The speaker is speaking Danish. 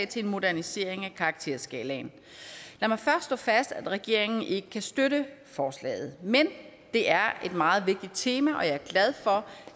til en modernisering af karakterskalaen lad mig først slå fast at regeringen ikke kan støtte forslaget men det er et meget vigtigt tema og jeg er glad for